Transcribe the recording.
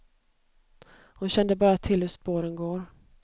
Hon kände bara till hur spåren går.